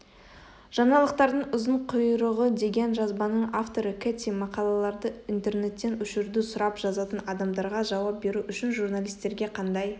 жаңалықтардың ұзын құйрығыдеген жазбаның авторы кэти мақалаларды интернеттен өшіруді сұрап жазатын адамдарға жауап беру үшін журналистерге қандай